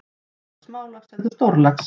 Ekki bara smálax heldur stórlax.